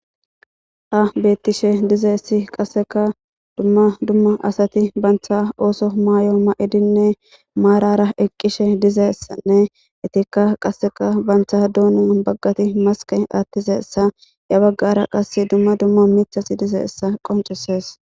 a bettishe dizayssi qasseka dumma dumma asati bantha ooso maayo ma7edinne maarara eqqishe dizessanne itikka qasseka bantha duuna baggati maske attizeessa ya baggara qas dumma dumma mithasi dize essa qoncisees